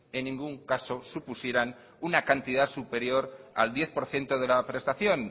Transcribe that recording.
en ningún caso supusieran una cantidad superior al diez por ciento de la prestación